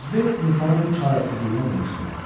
Qozbel insanın bu çarəsizliyinə qımışdı.